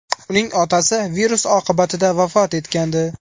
Uning otasi virus oqibatida vafot etgandi.